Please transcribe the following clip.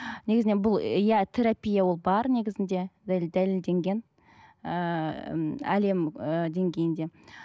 негізінен бұл ы иә терапия ол бар негізінде дәлелденген ыыы м әлем ы деңгейінде